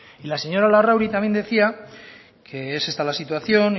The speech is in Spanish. y la señora larrauri también decía que es esta la situación